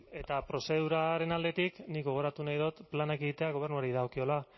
eta prozeduraren aldetik nik gogoratu nahi dut planak egitea gobernuari dagokiola